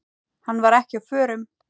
Hann var ekki á förum.